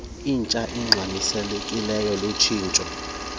intsha ingxamisekileyo lutshintsho